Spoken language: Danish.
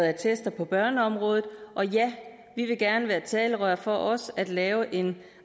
attester på børneområdet og ja vi vil gerne være talerør for også at lave en